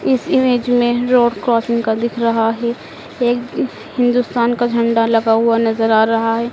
इस इमेज में road crossing का दिख रहा है एक हिंदुस्तान का झंडा लगा हुआ नजर आ रहा है।